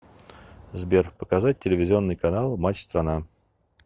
сбер показать телевизионный канал матч страна